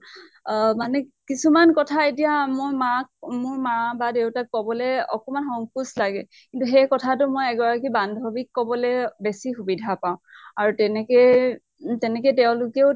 অহ মানে কিছুমান কথা এতিয়া মই মাক মোৰ মাক বা দেউতাক কবলৈ অকমান সংকোচ লাগে, কিন্তু সেই কথাটো এগৰাকী বান্ধ্ৱীক কবলৈ বেছি সুবিধা পাওঁ। আৰু তেনেকে তেনেকে তেওঁলোকেও